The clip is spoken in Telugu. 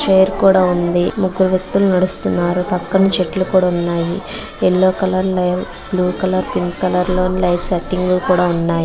ఒక పేరు కూడా ఉండే ముగ్గురు వ్యక్తులు నడుస్తూ మారకం చెట్లు కూడా సన్నాయి పిల్లలు కలర్(colour) లో కలర్ పింక్ కలర్(pink colour) లైటింగ్ కూడా సన్నాయి.